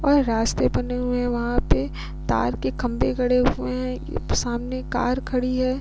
और रास्ते बने हुए है वहां पे तार के खंबे गड़े हुए है। एक सामने कार खड़ी है।